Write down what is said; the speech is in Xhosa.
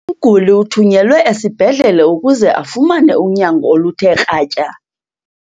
Umguli uthunyelwe esibhedlele ukuze afumane unyango oluthe kratya.